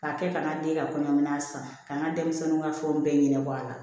K'a kɛ ka n ka den ka kɔɲɔmina san k'an ka denmisɛnninw ka fɛnw bɛɛ ɲɛnabɔ a la